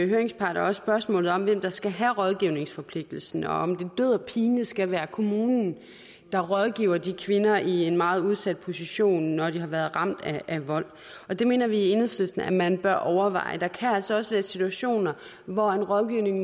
høringsparter også spørgsmålet om hvem der skal have rådgivningsforpligtelsen og om det død og pine skal være kommunen der rådgiver de kvinder som er i en meget udsat position når de har været ramt af vold det mener vi i enhedslisten at man bør overveje der kan altså også være situationer hvor en rådgivning